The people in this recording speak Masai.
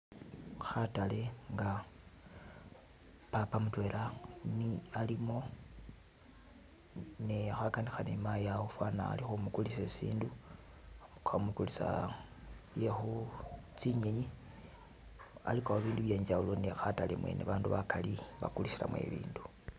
Khatale nga papa mudwela ni alimo ni khaganika ni mayi awo fanikha ali khumugulisa sindu khamugulisa byekhu tsinyinyi aligawo bindu byengyawulo ne khatale mwene bandu bagali bagulisilamo ibindu.